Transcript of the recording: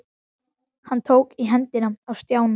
Eða þá hann byrjaði á hinum endanum.